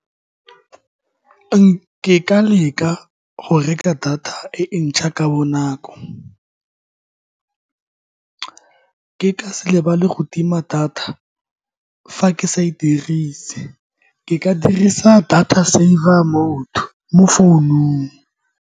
Ke ka leka go reka data e ntšha ka bonako, ke ka se lebale go tima data fa ke sa e dirise. Ke ka dirisa data saver mode mo founung.